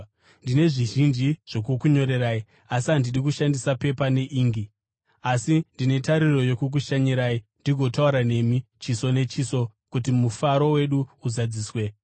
Ndine zvizhinji zvokukunyorerai, asi handidi kushandisa pepa neingi. Asi, ndine tariro yokukushanyirai ndigotaura nemi chiso nechiso, kuti mufaro wedu uzadziswe.